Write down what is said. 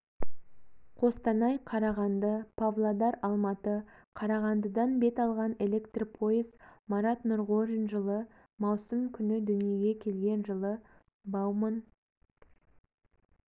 қостанай-қарағанды павлодар-алматы қарағандыдан бет алған электр пойыз марат нұрғожин жылы маусым күні дүниеге келген жылы бауман